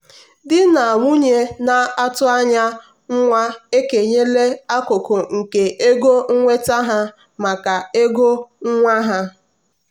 di na nwunye na-atụ anya nwa ekenyela akụkụ nke ego nnweta ha maka ego nwa ha.